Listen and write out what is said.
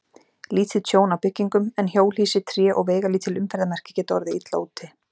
Lítið tjón á byggingum, en hjólhýsi, tré og veigalítil umferðarmerki geta orðið illa úti.